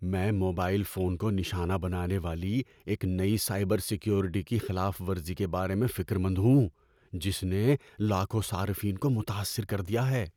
میں mobile phone کو نشانہ بنانے والی ایک نئی سائبر سیکیورٹی کی خلاف ورزی کے بارے میں فکر مند ہوں جس نے لاکھوں صارفین کو متاثر کر دیا ہے۔